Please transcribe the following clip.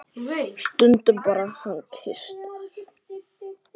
Stundum kyssast þær.